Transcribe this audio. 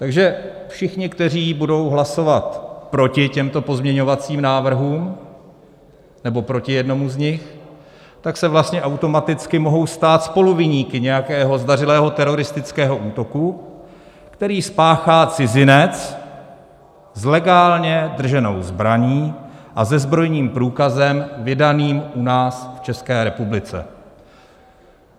Takže všichni, kteří budou hlasovat proti těmto pozměňovacím návrhům nebo proti jednomu z nich, tak se vlastně automaticky mohou stát spoluviníky nějakého zdařilého teroristického útoku, který spáchá cizinec s legálně drženou zbraní a se zbrojním průkazem vydaným u nás v České republice.